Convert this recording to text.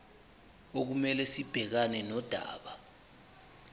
okumele sibhekane nodaba